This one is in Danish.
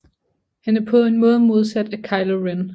Han er på en måde modsat af Kylo Ren